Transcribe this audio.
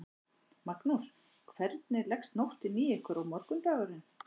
Magnús: Hvernig leggst nóttin í ykkur og morgundagurinn?